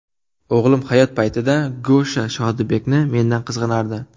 O‘g‘lim hayot payti Gosha Shodibekni mendan qizg‘anardi.